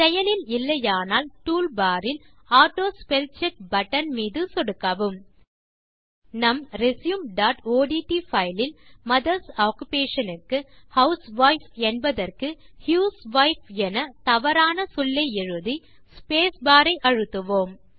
செயலில் இல்லையானால் டூல்பார் இல் ஆட்டோஸ்பெல்செக் பட்டன் மீது சொடுக்கவும் நம் resumeஒட்ட் பைல் இல் மதர்ஸ் ஆக்குபேஷன் க்கு ஹவுஸ்வைஃப் என்பதற்கு ஹியூஸ்வைப் என தவறான சொல்லை எழுதி ஸ்பேஸ்பார் ஐ அழுத்துவோம்